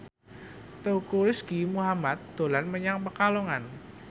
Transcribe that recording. Teuku Rizky Muhammad dolan menyang Pekalongan